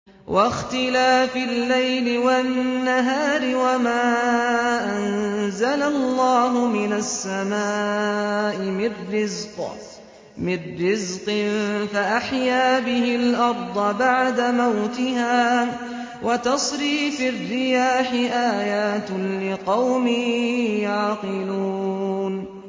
وَاخْتِلَافِ اللَّيْلِ وَالنَّهَارِ وَمَا أَنزَلَ اللَّهُ مِنَ السَّمَاءِ مِن رِّزْقٍ فَأَحْيَا بِهِ الْأَرْضَ بَعْدَ مَوْتِهَا وَتَصْرِيفِ الرِّيَاحِ آيَاتٌ لِّقَوْمٍ يَعْقِلُونَ